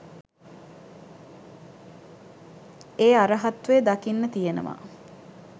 ඒ අරහත්වය දකින්න තියෙනවා.